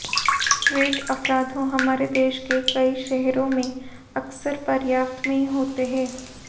street अपराधों हमारे देश के कई शहरों में अक्सर पर्याप्त में होते हैं